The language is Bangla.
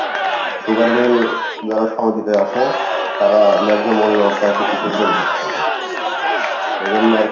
sugar meal যারা আসে তারা ন্যায্য মূল্য কৃষকদের দিচ্ছে না এইজন্য আরকি,